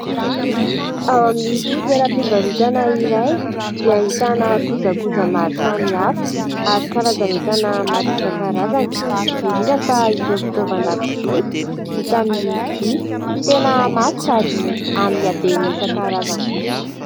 Ao amin'ity toeram-pivarotana iray dia ahitana kojakoja maro samy hafa ary karazan'entana maro isan-karazany. Indrindra fa ireo fitaoavan-dakozia vita amin'ny vy. Tena mafy sady amin'ny habeany isan-karazany koa.